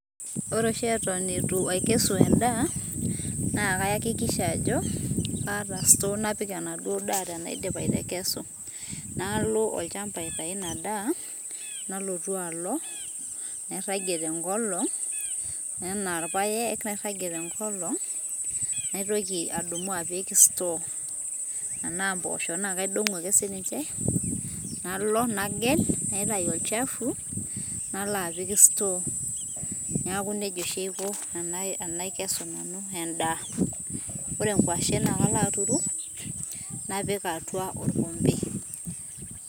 ore oshi eton etu akesu enda na kayakikisha ajo kataa store napik enaduo daa tenaidip atekesu nalo olchamba aitayu ina daa nalotu alo nairangie tengol ena ilpaek nairangie tengolong naitoki adumu apik store tena mbosho na kaidongu ake sininche, nalo nagel natayu olchafu nalo apik store niaku neijia oshi aiko tenakesu nanu enda. ore ingwashen na kalo aturu napik atua olkombe.